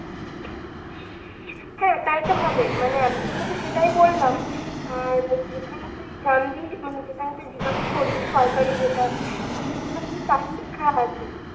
হ্যাঁ তাইতো হবে মানে আমিতো তোকে সেটাই বললাম, আর যেখানে তুই জানবি মানে যেখানে তুই জিজ্ঞাসা করবি সরকারি যেটা সেখানে তাই লেখা আছে